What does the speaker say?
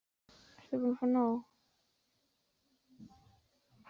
Ert þú búin að fá nóg?